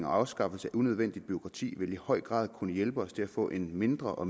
afskaffelse af unødvendigt bureaukrati vil i høj grad kunne hjælpe os til at få en mindre og